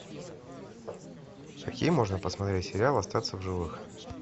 какие можно посмотреть сериалы остаться в живых